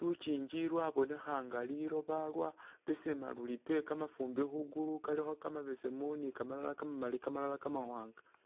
lukiingi lwabonekha nga liloba lwabesema luli pe kamafumbi khwi gulu kalikho kamabesemu, kamalala kamamali, kamalala Kamawaanga.